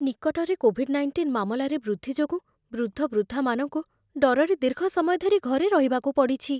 ନିକଟରେ covid nineteen ମାମଲାରେ ବୃଦ୍ଧି ଯୋଗୁଁ ବୃଦ୍ଧବୃଦ୍ଧାମାନଙ୍କୁ ଡରରେ ଦୀର୍ଘ ସମୟ ଧରି ଘରେ ରହିବାକୁ ପଡ଼ିଛି।